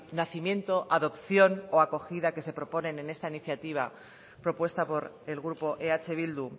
nacimiento adopción o acogida que se proponen en esta iniciativa propuesta por el grupo eh bildu